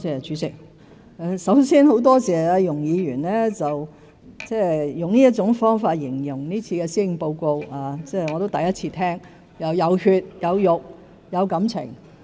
主席，首先，很多謝容議員用這種方法形容這份施政報告，我亦是第一次聽到"有血有肉"、"有感情"。